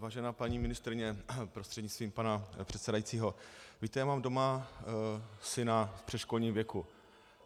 Vážená paní ministryně prostřednictvím pana předsedajícího, víte, já mám doma syna v předškolním věku.